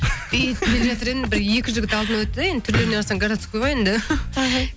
и келе жатыр едім бір екі жігіт алдымнан өтті де енді түрлеріне қарасаң городский ғой енді іхі